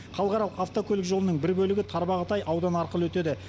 халықаралық автокөлік жолының бір бөлігі тарбағатай ауданы арқылы өтеді